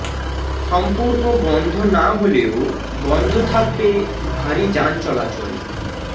সম্পূর্ণ বন্ধ না হলেও বন্ধ থাকবে ভারী যান চলাচল